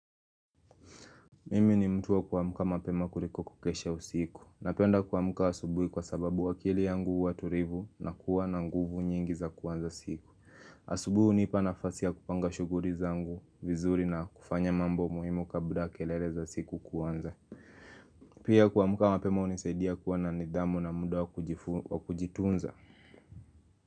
Mimi ni mtu wa kuamuka mapema kuliko kukesha usiku. Napenda kuamuka asubuhi kwa sababu akili yangu watulivu na kuwa na nguvu nyingi za kuanza siku. Asubuhi hunipa nafasi ya kupanga shughuli zangu, vizuri na kufanya mambo muhimu kabla kelele za siku kuanza. Pia kuamuka mapema unisaidia kuwa na nidhamu na muda wa kujitunza.